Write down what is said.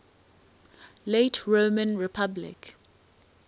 late roman republic